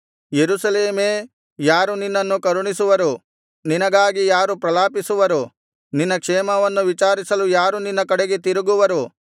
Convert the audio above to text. ಯೆರೂಸಲೇಮೇ ಯಾರು ನಿನ್ನನ್ನು ಕರುಣಿಸುವರು ನಿನಗಾಗಿ ಯಾರು ಪ್ರಲಾಪಿಸುವರು ನಿನ್ನ ಕ್ಷೇಮವನ್ನು ವಿಚಾರಿಸಲು ಯಾರು ನಿನ್ನ ಕಡೆಗೆ ತಿರುಗುವರು